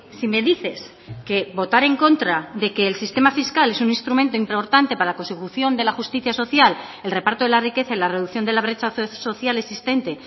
si me dices que votar en contra de que el sistema fiscal es un instrumento importante para la consecución de la justicia social el reparto de la riqueza y la reducción de la brecha social existente